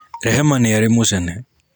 Rehema nĩ arĩ mũcene